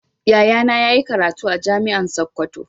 Yayana yayi karatu a jami'an sokoto.